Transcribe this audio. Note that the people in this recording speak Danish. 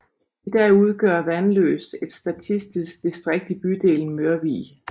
I dag udgør Vandløs et statistisk distrikt i bydelen Mørvig